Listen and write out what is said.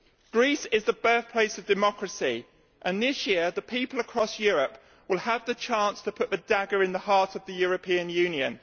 Greece is the birthplace of democracy, and this year people across Europe will have the chance to put a dagger in the heart of the European Union.